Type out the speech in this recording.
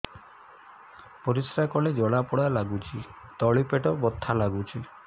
ପରିଶ୍ରା କଲେ ଜଳା ପୋଡା ଲାଗୁଚି ତଳି ପେଟ ବଥା ଲାଗୁଛି